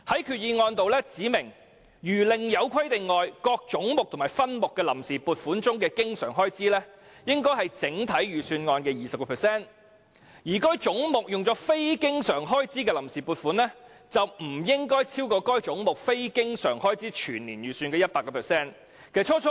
決議案指明，除另有規定外，各開支總目和分目的臨時撥款中的經常開支，應佔整體預算案的 20%； 而有關總目下非經常開支的臨時撥款，則不應超過該總目非經常開支全年預算的 100%。